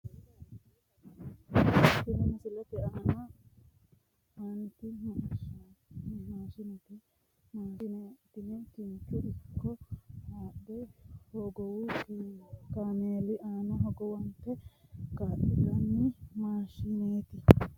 Tini misilete aaniti maashinete maashine tini kincho ikko bushsha uullanni ikko wolu kaameelinni haadhe hogowu kaameeli aana hogowate kaa'litanno maashineeti